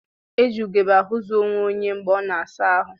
E ji ugebe ahụzụ onweonye mgbe a na-asa ahụ